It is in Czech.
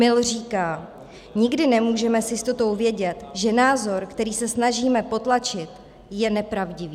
- Mill říká: Nikdy nemůžeme s jistotou vědět, že názor, který se snažíme potlačit, je nepravdivý.